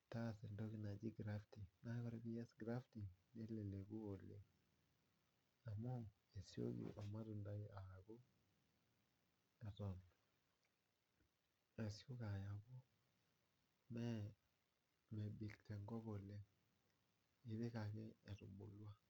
nitaas entoki najii grafting, naaku kore piiyas grafting neleleku oleng amuu esioki olmatundai akuu eton esioki aaku, mee mebik te nkop oleng, ipik ake etubulwa.